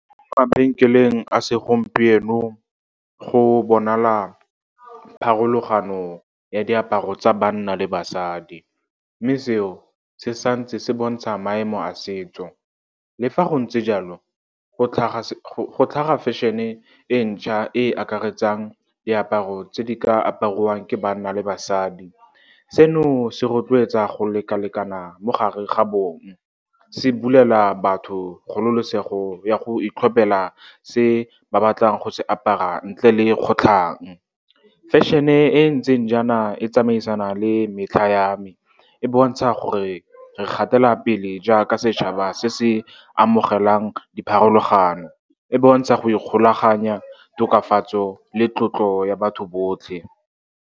Mabenkeleng a segompieno go bonala pharologano ya diaparo tsa banna le basadi, mme seo se santse se bontsha maemo a setso. Le fa go ntse jalo, go tlhaga fashion-e e ntšha e e akaretsang diaparo tse di ka apariwang ke banna le basadi. Seno se rotloetsa go lekalekana mo gare ga bong, se bulela batho kgololosego ya go itlhopela se ba batlang go se apara, ntle le kgotlhang. Fashion-e e ntseng jaana e tsamaisana le metlha ya me, e bontsha gore re gatela pele jaaka setšhaba se se amogelang dipharologano. E bontsha go ikgolaganya, tokafatso le tlotlo ya batho botlhe.